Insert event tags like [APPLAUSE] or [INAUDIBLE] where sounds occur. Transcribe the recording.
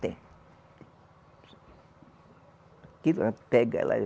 Tem. [UNINTELLIGIBLE] pega ela